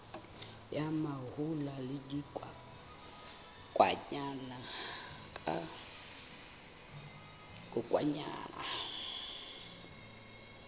ya mahola le dikokwanyana ka